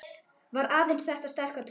Var aðeins þessi sterka trú